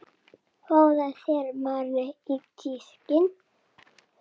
Fáðu þér meira á diskinn